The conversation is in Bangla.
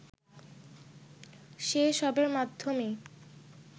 সে সবের মাধ্যমেই